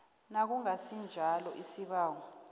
nakungasi njalo isibawo